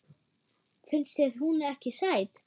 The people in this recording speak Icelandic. Finnst þér hún ekki sæt?